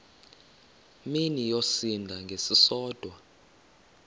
mini yosinda ngesisodwa